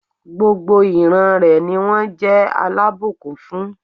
Gbogbo ìran rẹ̀ ni wón jé alábùkún fún